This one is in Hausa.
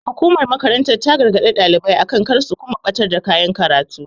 Hukumar makarantar ta gargaɗi ɗalibai akan kar su kuma ɓatar da kayan koya karatu.